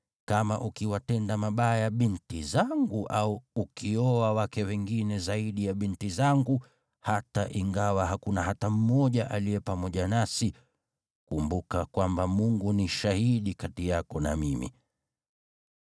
Kama ukiwatenda mabaya binti zangu au ukioa wake wengine zaidi ya binti zangu, hata ingawa hakuna hata mmoja aliye pamoja nasi, kumbuka kwamba Mungu ni shahidi kati yako na mimi.”